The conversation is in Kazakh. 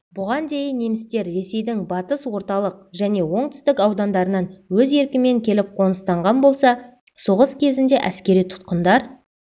бұған дейін немістер ресейдің батыс орталық және оңтүстік аудандарынан өз еркімен келіп қоныстанған болса соғыс кезінде әскери тұтқындар